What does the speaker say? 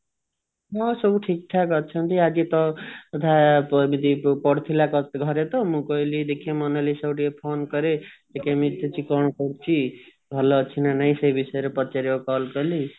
ହୁଁ ସବୁ ଠିକ ଠାକ ଅଛନ୍ତି ଆଜି ତୋ କଥା ଏମିତି ପଡିଥିଲା ତ ଘରେ ତ ମୁଁ କହିଲି ଦେଖିଆ ମୋନାଲିସା କୁ ଟିକେ phone କରେ ସେ କେମିତି ଅଛି କଣ କରୁଛି ଭଲ ଅଛି ନା ନାଇଁ ସେ ବିଷୟରେ ପଚାରିବାକୁ call କଲି